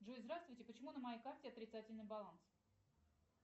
джой здравствуйте почему на моей карте отрицательный баланс